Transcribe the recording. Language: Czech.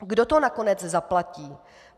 Kdo to nakonec zaplatí?